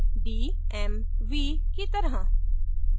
dm v की तरह